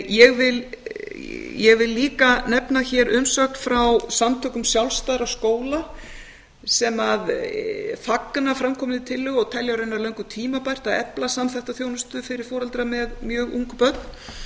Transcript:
ég vil líka nefna hér umsögn frá samtökum sjálfstæðra skóla sem fagna framkominni tillögu og telja raunar löngu tímabært að efla samþætta þjónustu fyrir foreldra með mjög ung börn